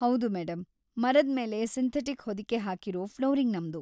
ಹೌದು ಮೇಡಂ, ಮರದ್ಮೇಲೆ ಸಿಂಥೆಟಿಕ್ ಹೊದಿಕೆ ಹಾಕಿರೋ‌ ಫ್ಲೋರಿಂಗ್‌ ನಮ್ದು.